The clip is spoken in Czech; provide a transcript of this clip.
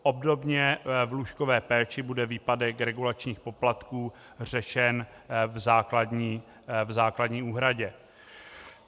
Obdobně v lůžkové péči bude výpadek regulačních poplatků řešen v základní úhradě.